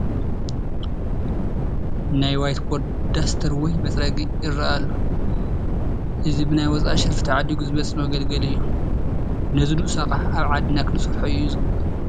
ናይ ዋይት ቦርድ ዳስተር ወይ መፅረጊ ይርአ ኣሎ፡፡ እዚ ብናይ ወፃኢ ሸርፊ ተዓዲጉ ዝመፅእ መገልገሊ እዩ፡፡ ነዚ ንኡስ ኣቕሓ ኣብ ዓድና ክንሰርሖ እዩ ዝግባእ፡፡